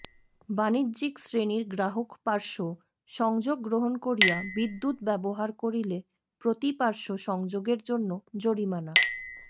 বাণিজ্যিক শ্রেনীর গ্রাহক পার্শ্ব সংযোগ গ্রহন করিয়া বিদ্যুৎ ব্যবহার করিলে প্রতি পার্শ্ব সংযোগের জন্য জরিমানাঃ